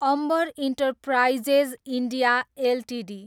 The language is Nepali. Ambar Enterprises India Ltd